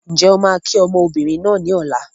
N jẹ́ ó kii ọmọbìnrin náà ni Ọ̀la.